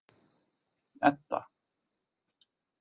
Edda